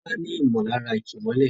Tola ní nímọ̀lára ìkìmọ́lẹ̀.